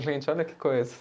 Gente, olha que coisa.